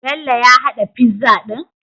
Bello ya hada pizza din?